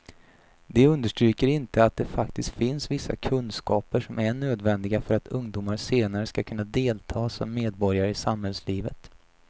De understryker inte att det faktiskt finns vissa kunskaper som är nödvändiga för att ungdomar senare ska kunna delta som medborgare i samhällslivet.